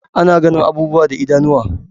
Ana ganin abubuwa da idanuwa